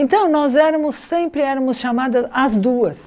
Então, nós éramos sempre éramos chamadas as duas.